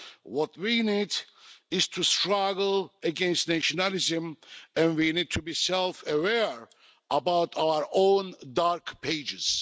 What we need is to struggle against nationalism, and we need to be self aware about our own dark pages.